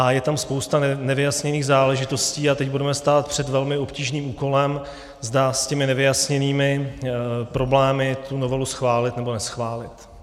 A je tam spousta nevyjasněných záležitostí a teď budeme stát před velmi obtížným úkolem, zda s těmi nevyjasněnými problémy tu novelu schválit, nebo neschválit.